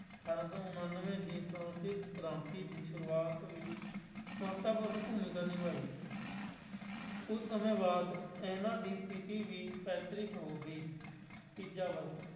ਅਠਾਰਾਂ ਸੌ ਉਨਾਨਵੇਂ ਦੀ ਫਰਾਂਸਿਸ ਕ੍ਰਾਂਤੀ ਦੀ ਸ਼ੁਰੂਆਤ ਵਿੱਚ ਮਹੱਤਵਪੂਰਨ ਭੂੂਮਿਕਾ ਨਿਭਾਈ ਕੁੱਝ ਸਮੇਂ ਬਾਅਦ ਇਹਨਾਂ ਦੀ ਸਥਿੱਤੀ ਵੀ ਪੈਤਰਿਕ ਹੋ ਗਈ, ਤੀਜਾ ਵਰਗ